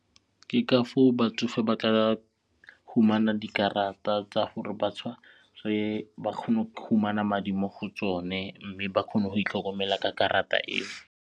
Ke ka foo batsofe ba tla humana dikarata tsa gore ba tshware ba kgone go fumana madi mo go tsone mme ba kgone go itlhokomela ka karata eo.